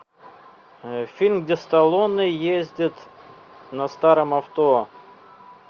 фильм где сталлоне ездит на старом авто